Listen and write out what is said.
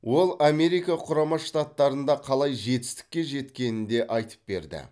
ол америка құрама штаттарында қалай жетістікке жеткенін де айтып берді